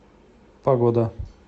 погода